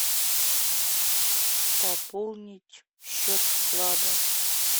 пополнить счет вклада